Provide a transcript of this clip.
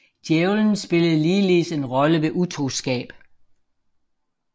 Djævelen spillede ligeledes en rolle ved utroskab